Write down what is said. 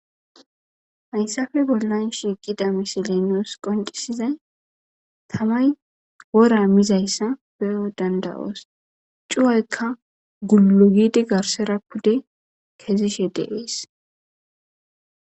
hayssafe bollan shiiqida misiley nus qoncisizay tamay wora mizayssa peyo dandawoos cuwaykka gulu gidi garsera pude kezishe deees